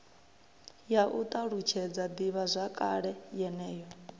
ya u ṱalutshedza ḓivhazwakale yeneyo